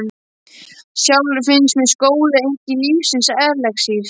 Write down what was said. Sjálfri finnst mér skóli enginn lífsins elexír.